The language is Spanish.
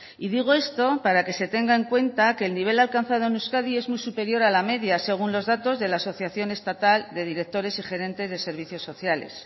y digo esto para que se tenga en cuenta que el nivel alcanzado en euskadi es muy superior a la media según los datos de la asociación estatal de directores y gerentes de servicios sociales